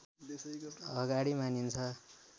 अगाडि मानिन्छ